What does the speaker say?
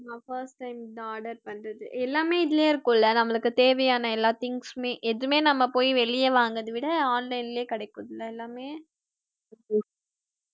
நான் first time இதான் order பண்றது எல்லாமே இதுலயே இருக்கும்ல நம்மளுக்கு தேவையான எல்லா things மே எதுவுமே நம்ம போய் வெளிய வாங்குறத விட online லயே கிடைக்கும்ல எல்லாமே